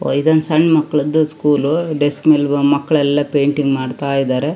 ಓ ಇದು ಸಣ್ಣ ಮಕ್ಕಳದು ಸ್ಕೂಲ್ ಡಸ್ಕ್ ಮೇಲೆ ಮಕ್ಕಳೆಲ್ಲಾ ಪೇಂಟಿಂಗ್ ಮಾಡತ್ತಾ ಇದಾರೆ.